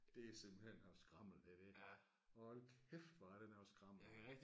Det er simpelthen noget skrammel det der hold kæft hvor er det noget skrammel